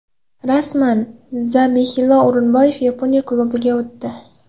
Rasman: Zabihillo O‘rinboyev Yaponiya klubiga o‘tdi.